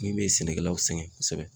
Ni min ye sɛnɛkɛlaw sɛgɛn kɔsɛbɛ